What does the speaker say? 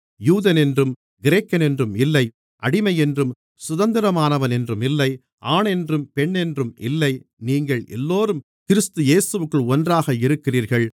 யூதனென்றும் கிரேக்கனென்றும் இல்லை அடிமையென்றும் சுதந்திரமானவனென்றும் இல்லை ஆணென்றும் பெண்ணென்றும் இல்லை நீங்கள் எல்லோரும் கிறிஸ்து இயேசுவிற்குள் ஒன்றாக இருக்கிறீர்கள்